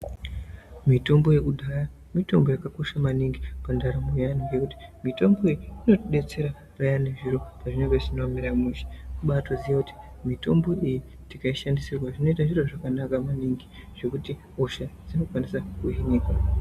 Mitombo yekudhaya mitombo yakakosha maningi pandaramo yevantu ngenyaya yekuti mitombo iyi inotidetsera zviro pazvinenge zvisina kumira mushe kubatoziya kuti mitombo iyi tikaishandisirwa zvinoita zviro zvakanaka maningi zvekuti hosha dzinokwanisa kuhinika.